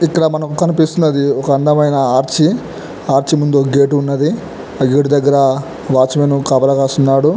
ఇక్కడ ఒక ఆర్చి చాల అర్చేలు ఉన్నాయ్ ---